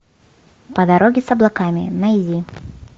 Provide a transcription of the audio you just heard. по дороге с облаками найди